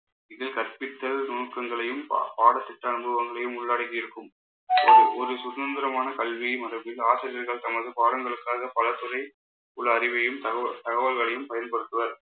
இது கற்பித்தல் நுணுக்கங்களையும் ப~ பாட சித்த அனுபவங்களையும் உள்ளடக்கி இருக்கும். ஒரு சுதந்திரமான கல்வி மற்றும் ஆசிரியர்கள் தமது பாடங்களுக்காக பல துறை ஒரு அறிவையும் தகவ~ தகவல்களையும் பயன்படுத்துவர்